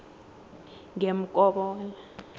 ngemkobola